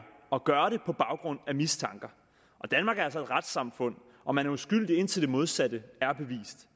at gøre det på baggrund af en mistanke og danmark er altså et retssamfund hvor man er uskyldig indtil det modsatte er bevist